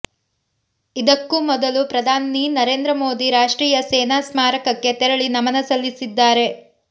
ಇದಕ್ಕೂ ಮೊದಲು ಪ್ರಧಾನಿ ನರೇಂದ್ರ ಮೋದಿ ರಾಷ್ಟ್ರೀಯ ಸೇನಾ ಸ್ಮಾರಕಕ್ಕೆ ತೆರಳಿ ನಮನ ಸಲ್ಲಿಸಲಿದ್ದಾರೆ